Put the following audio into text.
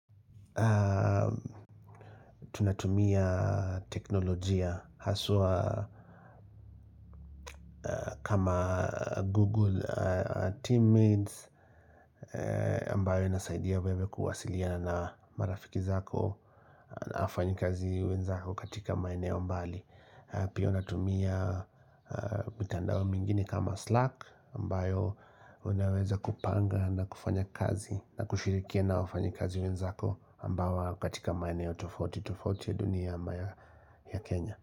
Tunatumia teknolojia haswa kama Google teammates ambayo inasaidia wewe kuwasiliana na marafiki zako na wafanyikazi wenzako katika maeneo mbali Pia unatumia mitandao mingini kama Slack ambayo unaweza kupanga na kufanya kazi na kushirikia na wafanyikazi wenzako ambao katika maeneo tofauti tofauti ya dunia ya Kenya.